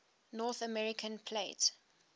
north american plate